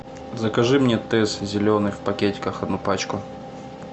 закажи мне тесс зеленый в пакетиках одну пачку